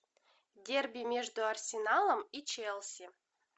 дерби между арсеналом и челси